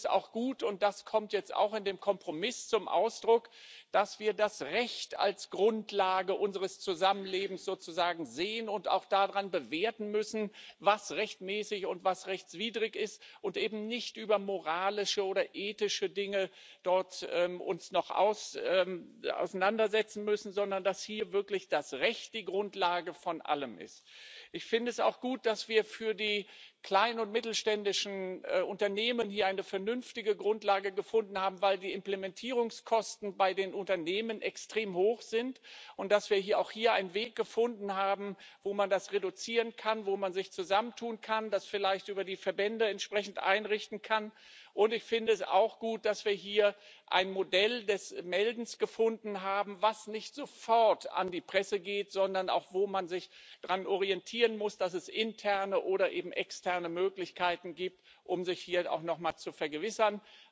Ich finde es auch gut und das kommt jetzt auch in dem Kompromiss zum Ausdruck dass wir das Recht als Grundlage unseres Zusammenlebens sehen und auch daran bewerten müssen, was rechtmäßig und was rechtswidrig ist, und uns dort eben nicht noch über moralische oder ethische Dinge auseinandersetzen müssen, sondern dass hier wirklich das Recht die Grundlage von allem ist. Ich finde es auch gut, dass wir für die kleinen und mittelständischen Unternehmen hier eine vernünftige Grundlage gefunden haben, weil die Implementierungskosten bei den Unternehmen extrem hoch sind, und dass wir hier auch einen Weg gefunden haben, wo man das reduzieren kann, wo man sich zusammentun kann, das vielleicht über die Verbände entsprechend einrichten kann. Und ich finde es auch gut, dass wir hier ein Modell des Meldens gefunden haben, das nicht sofort an die Presse geht, sondern auch, wo man sich daran orientieren muss, dass es interne oder eben externe Möglichkeiten gibt, um sich hier auch nochmal zu vergewissern.